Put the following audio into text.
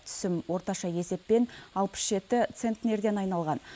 түсім орташа есеппен алпыс жеті центнерден айналған